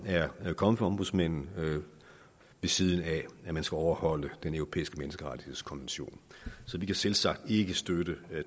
er kommet fra ombudsmanden ved siden af at man skal overholde den europæiske menneskerettighedskonvention så vi kan selvsagt ikke støtte